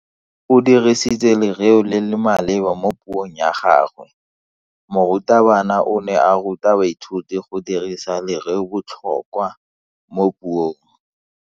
O dirisitse lereo le le maleba mo puong ya gagwe. Morutabana o ne a ruta baithuti go dirisa lereobotlhokwa mo puong.